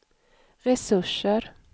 resurser